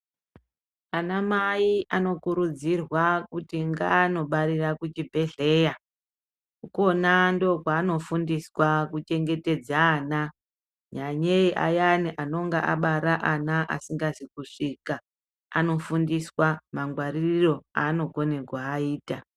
Anamai anokurudzirwa kuti ngaanobarira kuchibhehleya. Ikona ndookwaanofundiswa kuchengetedze ana. Nyanyei ayani anonga abara ana asingazi kusvika, anofundiswa mangwaririro aanokone kuaita.